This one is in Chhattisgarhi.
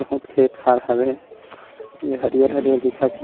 बहुत खेत खार हवे यह हरियर-हरियर दिखत हे।